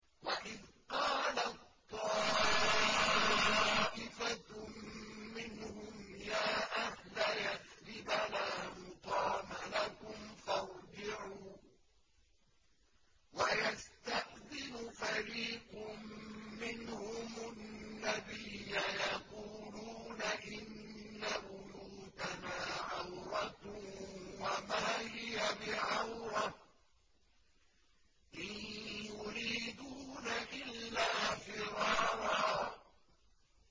وَإِذْ قَالَت طَّائِفَةٌ مِّنْهُمْ يَا أَهْلَ يَثْرِبَ لَا مُقَامَ لَكُمْ فَارْجِعُوا ۚ وَيَسْتَأْذِنُ فَرِيقٌ مِّنْهُمُ النَّبِيَّ يَقُولُونَ إِنَّ بُيُوتَنَا عَوْرَةٌ وَمَا هِيَ بِعَوْرَةٍ ۖ إِن يُرِيدُونَ إِلَّا فِرَارًا